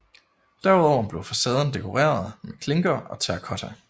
Derudover blev facaden dekoreret med klinker og terracotta